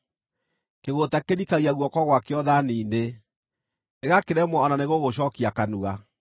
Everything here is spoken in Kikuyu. Kĩgũũta kĩrikagia guoko gwakĩo thaani-inĩ; gĩgakĩremwo o na nĩgũgũcookia kanua!